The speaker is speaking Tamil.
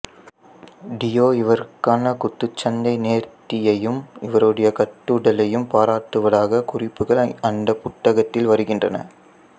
டியோ இவருக்கான குத்துச்சண்டை நேர்த்தியையும் இவருடைய கட்டுடலையும் பாராட்டுவதாக குறிப்புகள் அந்த புத்தகத்தில் வருகின்றன